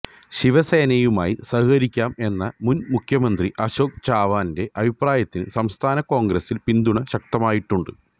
ശിവസേനയുമായി സഹകരിക്കാം എന്ന മുൻ മുഖ്യമന്ത്രി അശോക് ചവാൻ്റെ അഭിപ്രായത്തിന് സംസ്ഥാന കോൺഗ്രസിൽ പിന്തുണ ശക്തമായിട്ടുണ്ട്